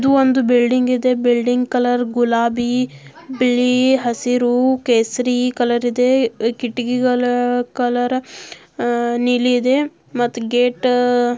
ಇದು ಒಂದು ಬಿಲ್ಡಿಂಗ್ ಅದೇ ಬಿಲ್ಡಿಂಗ್ ಕಲರ್ ಗುಲಾಬಿ ಬಿಳಿ ಹಸಿರು ಕೇಸರಿ ಕಲರ್ ಇದೆ ಕಿಟಕಿಗಳು ಕಲರ್ ನೀಲಿ ಇದೆ ಮತ್ ಗೇಟ್ --